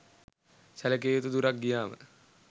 සැලකිය යුතු දුරක් ගියාම